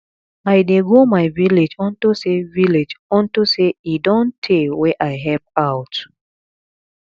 i dey go my village unto say village unto say e don tey wey i help out